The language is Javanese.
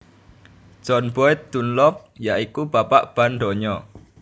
John Boyd Dunlop ya iku bapak ban donya